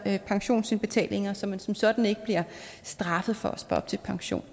pensionsindbetalinger så man som sådan ikke bliver straffet for at spare op til pension